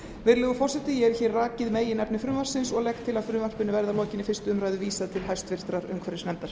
virðulegur forseti ég hef rakið meginefni frumvarpsins og legg til að frumvarpinu verði að lokinni fyrstu umræðu vísað til háttvirtrar umhverfisnefndar